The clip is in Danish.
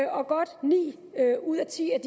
og at godt ni ud af ti af